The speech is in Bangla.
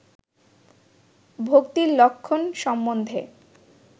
ভক্তির লক্ষণ সম্বন্ধে